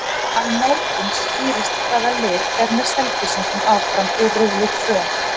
Á morgun skýrist hvaða lið fer með Selfyssingum áfram úr riðli tvö.